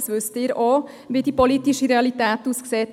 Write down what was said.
Sie wissen auch, wie die politische Realität aussieht.